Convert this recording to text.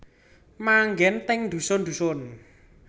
Manggen teng dhusun dhusun